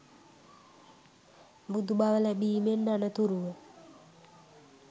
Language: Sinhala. බුදු බව ලැබීමෙන් අනතුරුව